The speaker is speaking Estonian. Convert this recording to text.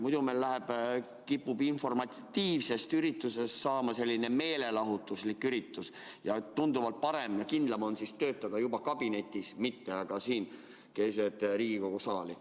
Muidu meil kipub informatiivsest üritusest saama meelelahutuslik üritus ja tunduvalt parem ja kindlam on töötada kabinetis, mitte aga siin keset Riigikogu saali.